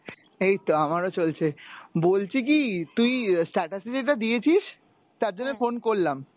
এই তো আমারো চলছে, বলছি কী তুই status এ যেটা দিয়েছিস তার জন্যে phone করলাম